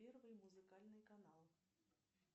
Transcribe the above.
первый музыкальный канал